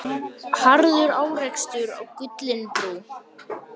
Harður árekstur á Gullinbrú